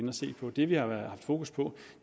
at se på det vi har haft fokus på